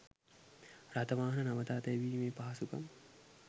රථවාහන නවතා තැබීමේ පහසුකම්